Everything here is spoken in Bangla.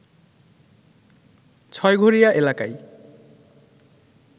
ছয়ঘোরিয়া এলাকায়